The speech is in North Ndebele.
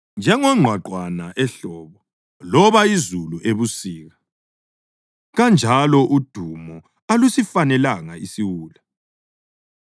Njengongqwaqwane ehlobo loba izulu ebusika kanjalo udumo alusifanelanga isiwula.